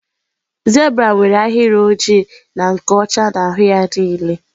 Zebra nwere ahịrị oji na nke ọcha n'ahụ ya niile